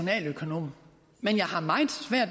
her